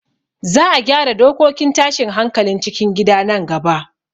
Za a gyara dokokin tashin hankalin cikin gida nan gaba